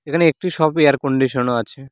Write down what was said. এখানে একটি শপে এয়ারকন্ডিশনও আছে।